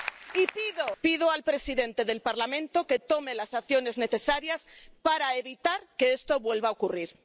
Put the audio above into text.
Y pido al presidente del Parlamento que tome las medidas necesarias para evitar que esto vuelva a ocurrir.